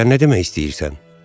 Sən nə demək istəyirsən?